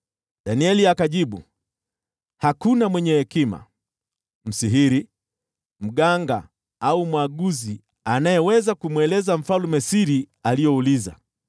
Danieli akajibu, “Hakuna mwenye hekima, msihiri, mganga au mwaguzi anayeweza kumweleza mfalme siri aliyouliza,